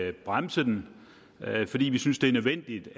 at bremse den fordi vi synes det er nødvendigt